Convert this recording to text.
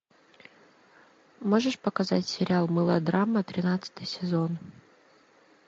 можешь показать сериал мылодрама тринадцатый сезон